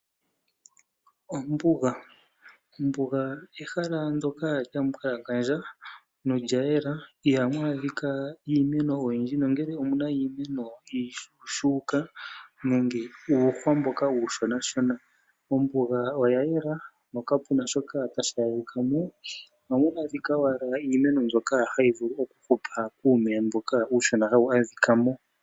Ombuga, ombuga ehala ndoka lyambwalangandja nolya yela